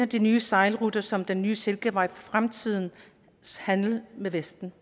de nye sejlruter som er den nye silkevej og fremtidens handel med vesten